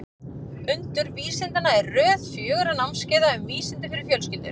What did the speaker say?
Undur vísindanna er röð fjögurra námskeiða um vísindi fyrir fjölskyldur.